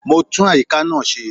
Mo ń tún àyíká náà ṣe